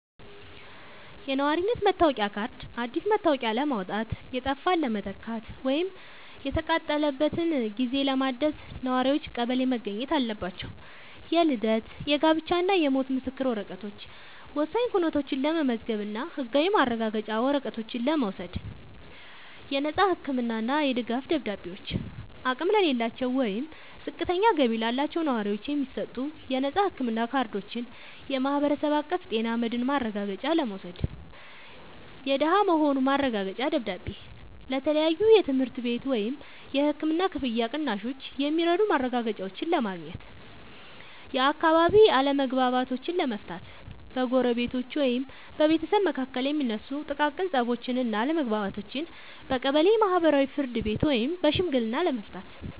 የነዋሪነት መታወቂያ ካርድ፦ አዲስ መታወቂያ ለማውጣት፣ የጠፋን ለመተካት ወይም የተቃጠለበትን ጊዜ ለማደስ ነዋሪዎች ቀበሌ መገኘት አለባቸው። የልደት፣ የጋብቻ እና የሞት ምስክር ወረቀቶች፦ ወሳኝ ኩነቶችን ለመመዝገብ እና ህጋዊ ማረጋገጫ ወረቀቶችን ለመውሰድ። የነፃ ህክምና እና የድጋፍ ደብዳቤዎች፦ አቅም ለሌላቸው ወይም ዝቅተኛ ገቢ ላላቸው ነዋሪዎች የሚሰጡ የነፃ ህክምና ካርዶችን (የማህበረሰብ አቀፍ ጤና መድህን ማረጋገጫ) ለመውሰድ። የደሃ መሆኑ ማረጋገጫ ደብዳቤ፦ ለተለያዩ የትምህርት ቤት ወይም የህክምና ክፍያ ቅናሾች የሚረዱ ማረጋገጫዎችን ለማግኘት። የአካባቢ አለመግባባቶችን ለመፍታት፦ በጎረቤቶች ወይም በቤተሰብ መካከል የሚነሱ ጥቃቅን ፀቦችን እና አለመግባባቶችን በቀበሌ የማህበራዊ ፍርድ ቤት ወይም በሽምግልና ለመፍታት።